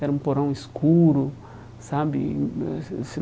Era um porão escuro, sabe?